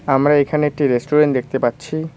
আমরা এখানে একটি রেস্টুরেন্ট দেখতে পাচ্ছি।